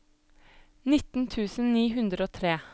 nitten tusen ni hundre og tre